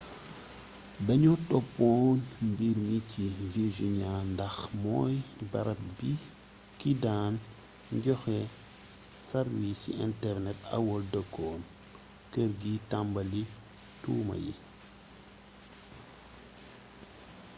dañoo toppoon mbir mi ci virginia ndax mooy barab bi ki daan joxe sarwiisi internet aol dëkkoon kër gi tambali tuuma yi